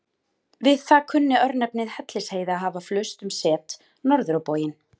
Við það kunni örnefnið Hellisheiði að hafa flust um set, norður á bóginn.